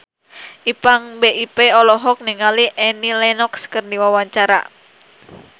Ipank BIP olohok ningali Annie Lenox keur diwawancara